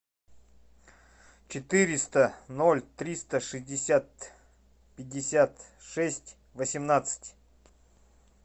четыреста ноль триста шестьдесят пятьдесят шесть восемнадцать